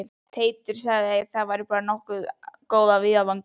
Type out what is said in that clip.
Teitur sagði að væri bara nokkuð góð af viðvaningi